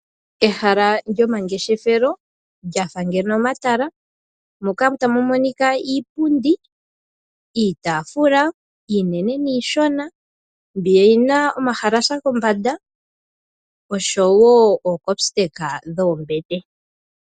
Ehala lyomangeshefelo lyafa ngeno omatala moka tamu monika iipundi, iitaafula iinene niishona, mbi yi na omahalasa kombanda osho wo omitse dhoombete.